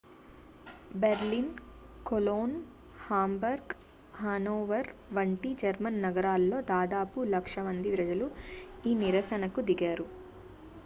Berlin Cologne Hamburg Hanover వంటి German నగరాల్లో దాదాపు లక్ష మంది ప్రజలు ఈ నిరసన కు దిగారు